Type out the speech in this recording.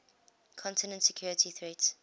content security threats